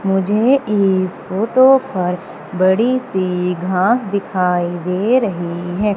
मुझे इस फोटो पर बड़ी सी घास दिखाई दे रही है।